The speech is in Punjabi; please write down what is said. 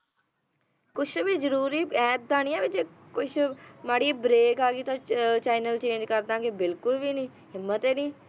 ਕੁਝ ਵੀ ਜਰੂਰੀ ਐਦਾਂ ਨਹੀਂ ਹੈ ਵੀ ਕੁਝ ਵੀ ਮਾੜੀ ਜਿਹੀ break ਆ ਗਈ ਤਾਂ channel change ਕਰ ਦਿਆਂਗੇ ਨਾ ਬਿਲਕੁਲ ਵੀ ਨਹੀਂ